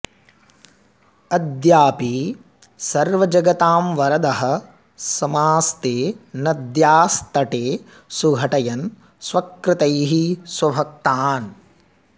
अद्यापि सर्वजगतां वरदः समास्ते नद्यास्तटे सुघटयन् स्वकृतैः स्वभक्तान्